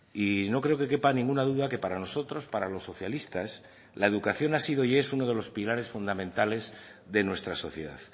y no creo que quepa ninguna duda que para nosotros para los socialistas la educación ha sido y es uno de los pilares fundamentales de nuestra sociedad